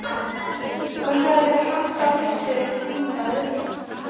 Hvað sagði háttvirtur þingmaður?